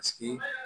Paseke